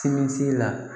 Simisi la